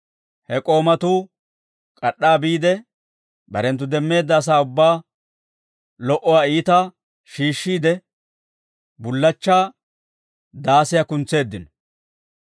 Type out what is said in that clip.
He k'oomatuu k'ad'd'aa biide, barenttu demmeedda asaa ubbaa lo"uwaa iitaa shiishshiide, bullachchaa daasiyaa kuntseeddino.